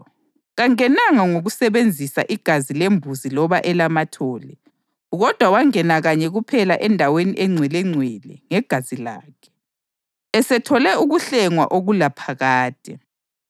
Kangenanga ngokusebenzisa igazi lembuzi loba elamathole; kodwa wangena kanye kuphela eNdaweni eNgcwelengcwele ngegazi lakhe, esethole ukuhlengwa okulaphakade.